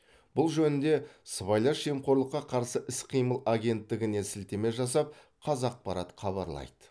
бұл жөнінде сыбайлас жемқорлыққа қарсы іс қимыл агенттігіне сілтеме жасап қазақпарат хабарлайды